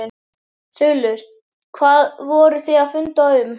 Þulur: Hvað voruð þið að funda um?